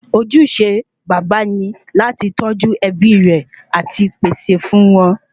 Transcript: Ojúṣe baba ni láti tọ́jú ẹbí rè àti pèsè fún wọn